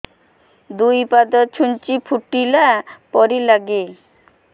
ଦୁଇ ପାଦ ଛୁଞ୍ଚି ଫୁଡିଲା ପରି ଲାଗେ